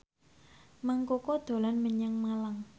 Mang Koko dolan menyang Malang